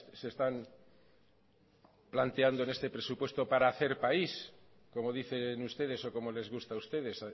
se están planteando en este presupuesto para hacer país como dicen ustedes o como les gusta a ustedes